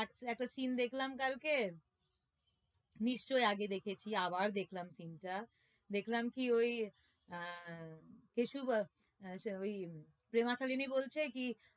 একটা scene নিশ্চই আগে দেখেছি আবার দেখলাম scene টা দেখলাম কি ওই আহ কেশু আহ ওই প্রেমা শালিনী বলছে কি